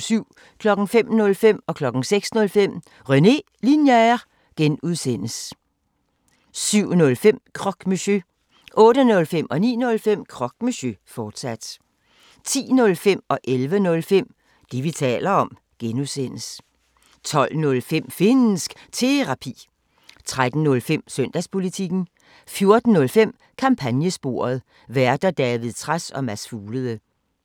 05:05: René Linjer (G) 06:05: René Linjer (G) 07:05: Croque Monsieur 08:05: Croque Monsieur, fortsat 09:05: Croque Monsieur, fortsat 10:05: Det, vi taler om (G) 11:05: Det, vi taler om (G) 12:05: Finnsk Terapi 13:05: Søndagspolitikken 14:05: Kampagnesporet: Værter: David Trads og Mads Fuglede